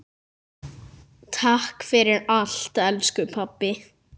Takk fyrir allt, elsku pabbi.